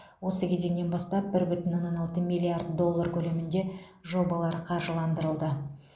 осы кезеңнен бастап бір бүтін оннан алты миллиард доллар көлемінде жобалар қаржыландырылды